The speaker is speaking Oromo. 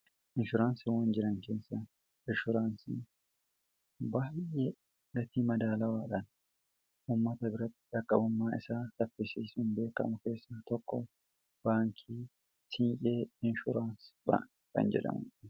Inshuraansiiwwan jiran keessa inshuraansii baay'ee gatii madaalawaadhaan ummata biratti dhaqqabummaa isaa saffisiisun beekamu keessa tokko baankii siinqee inshuraansii jedhama.